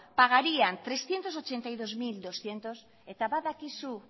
pagarían trescientos ochenta y dos mil doscientos eta badakizu